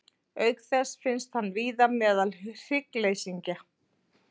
Auk þess finnst hann víða meðal hryggleysingja.